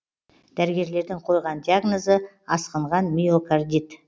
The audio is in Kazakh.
дәрігерлердің қойған диагнозы асқынған миокордит